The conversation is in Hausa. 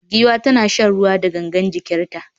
Giwa tana shan ruwa da gangar jikinta